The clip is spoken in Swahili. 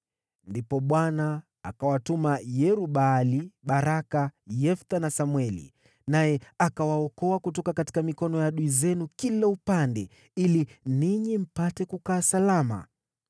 Ndipo Bwana akawatuma Yerub-Baali, Baraka, Yefta na Samweli, naye akawaokoa kutoka mikononi mwa adui zenu kila upande, ili ninyi mpate kukaa salama.